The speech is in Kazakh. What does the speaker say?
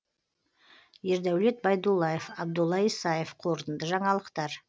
ердәулет байдуллаев абдулла исаев қорытынды жаңалықтар